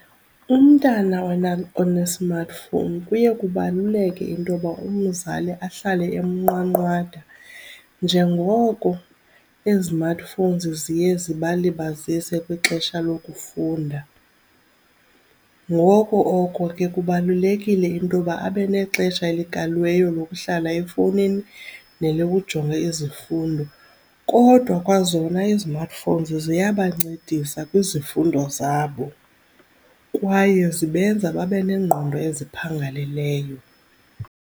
Umntana one-smartphone kubaluleke into yoba umzali ahlale emnqwanqwada njengoko izimatifowunzi ziye zibalibazise kwixesha lokufunda. Ngoko oko ke kubalulekile into yoba abe nexesha elikaliweyo lokuhlala efowunini nelokujonga izifundo. Kodwa kwazona izimatifowunzi ziyabancedisa kwizifundo zabo kwaye zibenza babe nengqondo esiphangaleleyo.